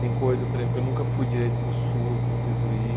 Tem coisa, por exemplo, eu nunca fui direito para o Sul, eu preciso ir.